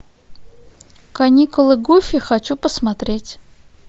каникулы гуфи хочу посмотреть